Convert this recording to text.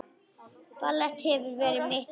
Ballett hefur verið mitt líf